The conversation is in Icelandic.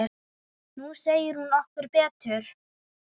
Nú sér hún okkur betur